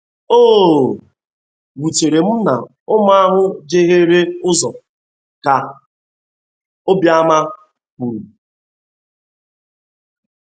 “ O wutere m na ụmụ ahụ jeghere ụzo.ka Obiama kwuru